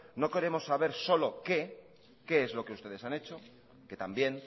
no queremos saber solo qué qué es lo que ustedes han hecho que también